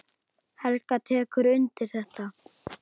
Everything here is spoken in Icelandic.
Helga tekur undir þetta.